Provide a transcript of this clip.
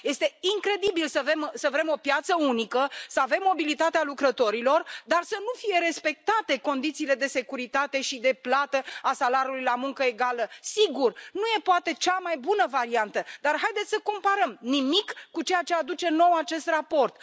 Este incredibil să vrem o piață unică, să avem mobilitatea lucrătorilor, dar să nu fie respectate condițiile de securitate și de plată a salariului la muncă egală. Sigur, nu e poate cea mai bună variantă, dar haideți să comparăm nimic cu ceea ce aduce nou acest raport.